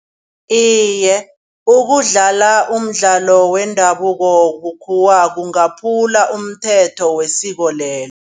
Iye ukudlala umdlalo wendabuko bukhuwa kungaphula umthetho wesiko lelo.